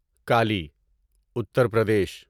Kali Uttar Pradesh